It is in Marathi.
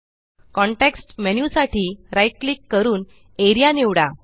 कॉन्टेक्स्ट मेन्यु साठी right क्लिक करून एआरईए निवडा